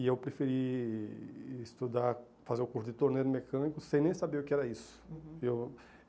E eu preferi estudar, fazer o curso de torneiro mecânico sem nem saber o que era isso. Uhum. Eu